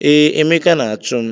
Ee, Emeka na-achụ m.